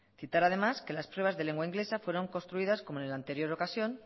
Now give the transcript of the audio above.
citar además que las pruebas de lengua inglesa fueron construidas como en la anterior ocasión